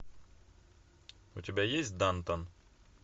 у тебя есть дантон